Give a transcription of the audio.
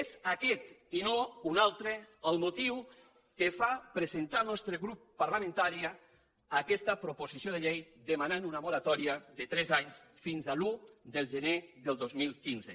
és aquest i no un altre el motiu que fa presentar al nostre grup parlamentari aquesta proposició de llei per demanar una moratòria de tres anys fins a l’un de gener del dos mil quinze